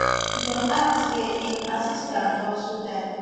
dem add say im assistant also die